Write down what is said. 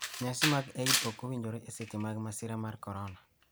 Nyasi mag Eid ok owinjore e seche mag masira mar korona -